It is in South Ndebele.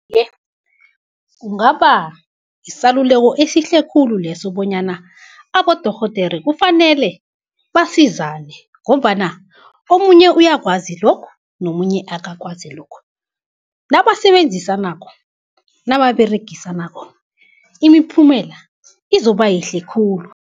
Iye, kungaba yisaluleko esihle khulu leso bonyana abodorhodere kufanele basizane, ngombana omunye uyakwazi lokhu nomunye akakwazi lokhu, nabasebenzisanako nababeregisanako imiphumela izoba yihle khulu.